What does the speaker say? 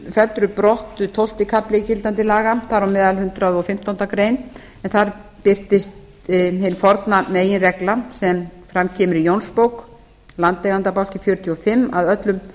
felldur er brott tólfti kafli gildandi laga þar á meðal hundrað og fimmtándu grein en þar birtist hin forna meginregla sem fram kemur í jónsbók landeigendabálki fjörutíu og fimm að öllum